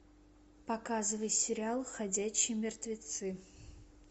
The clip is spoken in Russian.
показывай сериал ходячие мертвецы